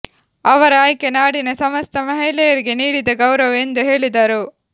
ಅವರ ಆಯ್ಕೆ ನಾಡಿನ ಸಮಸ್ತ ಮಹಿಳೆಯರಿಗೆ ನೀಡಿದ ಗೌರವ ಎಂದು ಹೇಳಿದರು